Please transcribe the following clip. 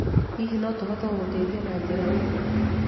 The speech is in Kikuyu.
Hihi no tũhote gũgũteithia na njĩra ĩngĩ?